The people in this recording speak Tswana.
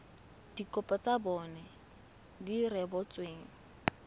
dikopo tsa bona di rebotsweng